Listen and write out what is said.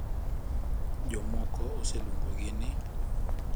Jomoko oseluongogi ni,